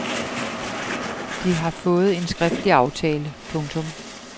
De har fået en skriftlig aftale. punktum